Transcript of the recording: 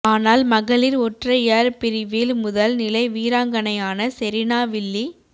ஆனால் மகளிர் ஒற்றையர் பிரிவில் முதல் நிலை வீராங்கனையான செரீனா வில்லி